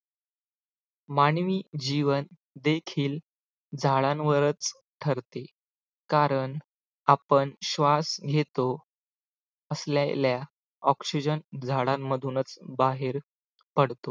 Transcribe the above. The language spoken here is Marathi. मानवी जीवन देखील झाडांवरच ठरते कारण आपण श्वास घेतो असलेल्या oxygen झाडांमधूनच बाहेर पडतो